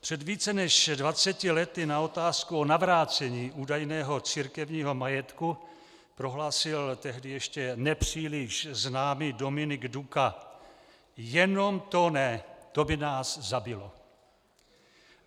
Před více než dvaceti lety na otázku o navrácení údajného církevního majetku prohlásil tehdy ještě nepříliš známý Dominik Duka: "Jenom to ne, to by nás zabilo."